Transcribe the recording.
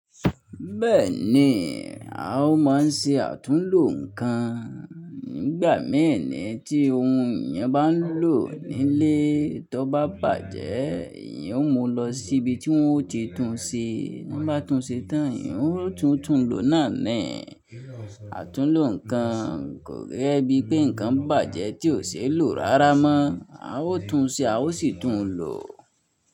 Bẹ́ẹ̀ni, a ó máa ń ṣe àtúnlo nǹkan. Nígbà mẹ́ẹ̀nì tí ohun ìyẹn bá ń lò nílé, tí ó bá bàjẹ́, ìyẹn ó mú lọ sí ibi tí wọ́n ó ti tún ṣe. Wọ́n bá tún ṣe tán, ìyẹn ó tún túnlo náà nẹ̀. Àtúnlo nǹkan kò yẹ bíi pé nǹkan bàjẹ́ tí ò ṣeé lò rárá mọ́. A ó tún ṣe, a ó sì tún lò.